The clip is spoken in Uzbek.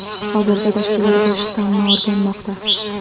Hozirda tashkilot bu shtammi o‘rganmoqda .